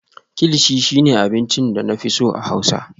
kilichi shine abincin da na fi so a Hausa